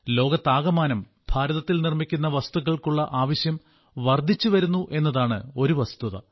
ലോകത്താകമാനം ഭാരതത്തിൽ നിർമ്മിക്കുന്ന വസ്തുക്കൾക്കുള്ള ആവശ്യം വർദ്ധിച്ചുവരുന്നു എന്നതാണ് ഒരു വസ്തുത